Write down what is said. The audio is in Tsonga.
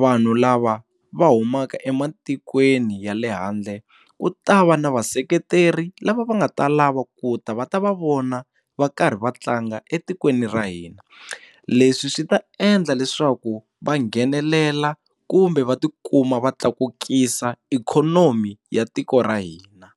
vanhu lava va humaka ematikweni ya le handle ku ta va na vaseketeri lava va nga ta lava ku ta va ta va vona va karhi va tlanga etikweni ra hina leswi swi ta endla leswaku va nghenelela kumbe va tikuma va tlakukisa ikhonomi ya tiko ra hina.